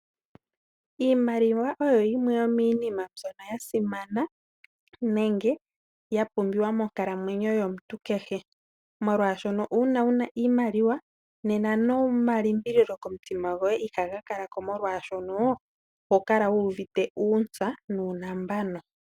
Iimaliwa oyo yimwe yomiinima mbyono ya simana nenge ya pumbiwa monkalamwenyo yomuntu kehe. Molwaashono uuna wu na iimaliwa nena noma limbililo komutima goye ihaga kala ko molwaashono, oho kala wu uvite uuntsa nuunambano.